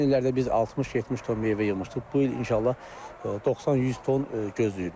Keçən illərdə biz 60-70 ton meyvə yığmışdıq, bu il inşallah 90-100 ton gözləyirik.